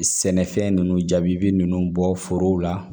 Sɛnɛfɛn ninnu jaabi ninnu bɔ forow la